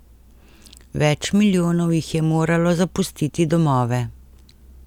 Več milijonov jih je moralo zapustiti domove.